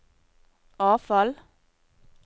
avfall